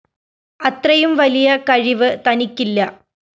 അത്രയും വലിയ കഴിവ്‌ തനിക്കില്ല